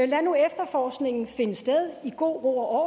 lad nu efterforskningen finde sted i god ro og